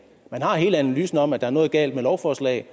man har hele analysen om at der er noget galt med lovforslaget